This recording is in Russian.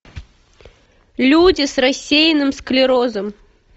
люди с рассеянным склерозом